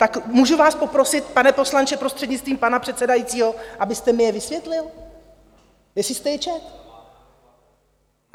Tak můžu vás poprosit, pane poslanče, prostřednictvím pana předsedajícího, abyste mi je vysvětlil, jestli jste je četl?